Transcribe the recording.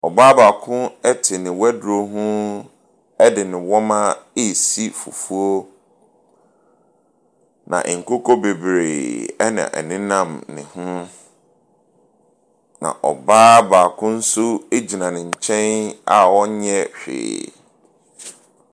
Ɔbaa baako te ne waduro ho de ne wɔma resi fufuo, na nkokɔ bebree na ɛnenam ne ho, na ɔbaa baako nso gyina ne nkyɛn a ɔnyɛ hwee.